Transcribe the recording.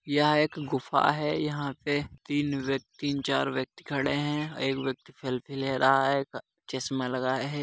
यह एक गुफा है। यहा पे तीन व्यक्ति तीन चार व्यक्ति खड़े हैं। एक व्यक्ति सेल्फ़ी ले रहा है चश्मा लगाए है।